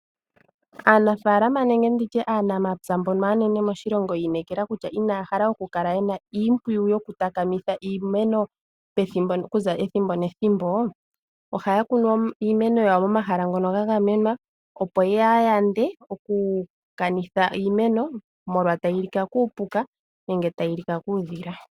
Aanafaalama nenge nditye aanamapya mbono aanene moshilongo yi inekela kutya inaya hala okukala yi na iimpwiyu yokutakamitha iimeno okuza ethimbo nethimbo, ohaya kunu iimeno yawo momahala ngono ga gamenwa, opo ya yande okukanitha iimeno molwa tayi li ka kuupuka nenge tayi li ka kuudhila.